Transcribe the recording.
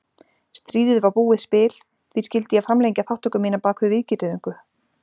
Stríðið var búið spil, því skyldi ég framlengja þátttöku mína bak við víggirðingu?